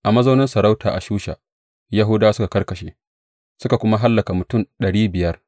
A mazaunin masarautar a Shusha, Yahudawa suka karkashe, suka kuma hallaka mutum ɗari biyar.